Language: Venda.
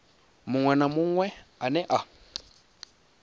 munwe na munwe ane a